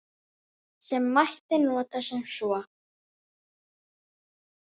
Sem mætti nota sem svo